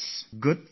Good luck